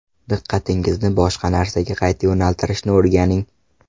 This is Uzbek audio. Diqqatingizni boshqa narsaga qayta yo‘naltirishni o‘rganing.